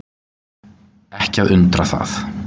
Ekki að undra það.